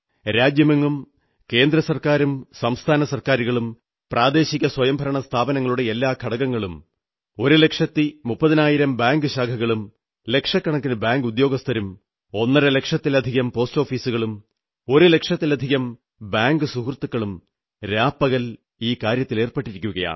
രാജ്യമെങ്ങും കേന്ദ്ര സർക്കാരും സംസ്ഥാന സർക്കാരുകളും പ്രാദേശിക തദ്ദേശഭരണ സ്ഥാപനങ്ങളുടെ എല്ലാ ഘടകങ്ങളും ഒരു ലക്ഷത്തി മുപ്പതിനായിരം ബാങ്ക് ശാഖകളും ലക്ഷക്കണക്കിനു ബാങ്കുദ്യോഗസ്ഥരും ഒന്നരലക്ഷത്തിലധികം പോസ്റ്റോഫീസുകളും ഒരു ലക്ഷത്തിലധികം ബാങ്ക് മിത്രങ്ങളും രാപ്പകൽ ഈ കാര്യത്തിലേർപ്പെട്ടിരിക്കയാണ്